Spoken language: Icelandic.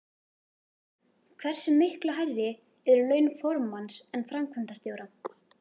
Hversu miklu hærri eru laun formanns en framkvæmdastjóra?